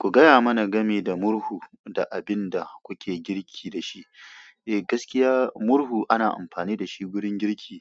Ku gaya mana game da murhu da abin da kuke girki da shi. Eh, gaskiya murhu ana amfani da su gurin girki